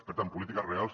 per tant polítiques reals